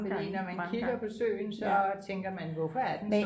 fordi når man kigger på søen så tænker man hvorfor er den